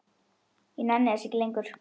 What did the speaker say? Ég nenni þessu ekki lengur.